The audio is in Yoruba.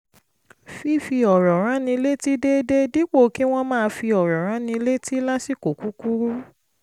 fífi ọ̀rọ̀ ránni létí déédéé dípò kí wọ́n máa fi ọ̀rọ̀ ránni létí lásìkò kúkúrú